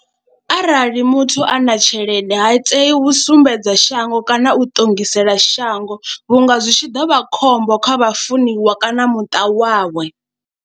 Arali muthu a na tshelede ha tei u sumbedza shango kana u ṱongisa xela shango vhunga zwi tshi ḓa vha khombo kha vha funiwa kana muṱa wawe.